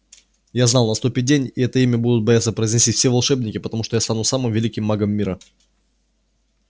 я знал наступит день и это имя будут бояться произносить все волшебники потому что я стану самым великим магом мира